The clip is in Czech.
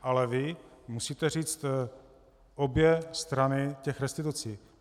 Ale vy musíte říct obě strany těch restitucí.